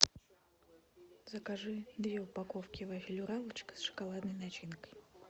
закажи две упаковки вафель уралочка с шоколадной начинкой